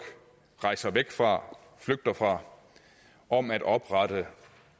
rejser væk fra flygter fra om at oprette